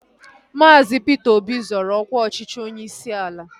Maazi Peter Obi zoro ọkwa ọchịchị onyeisi ala